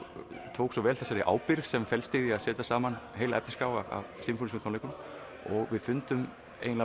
tók svo vel þessari ábyrgð sem felst í því að setja saman efnisskrá af sinfóníutónleikum og við fundum